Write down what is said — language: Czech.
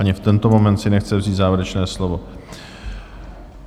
Ani v tento moment si nechce vzít závěrečné slovo.